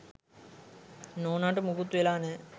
නෝනට මුකුත් වෙලා නෑ.